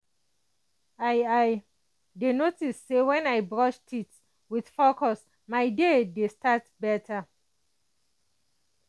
i i dey notice say when i brush teeth with focus my day dey start better.